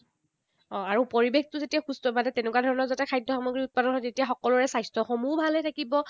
অঁহ, আৰু পৰিৱেশটো যেতিয়া সুস্থ, মানে তেনেকুৱা ধৰণৰ যাতে খাদ্য সামগ্ৰীৰ উৎপাদন হয়, তেতিয়া সকলোৰে স্বাস্থ্যসমূহো ভালে থাকিব।